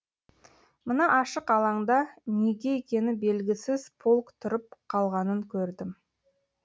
мына ашық алаңда неге екені белгісіз полк тұрып қалғанын көрдім